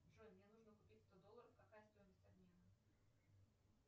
джой мне нужно купить сто долларов какая стоимость обмена